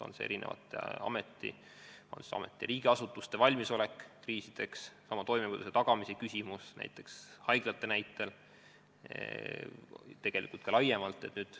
On see erinevate ametite, riigiasutuste valmisolek kriisideks, oma toimivuse tagamine näiteks haiglates, aga tegelikult ka laiemalt.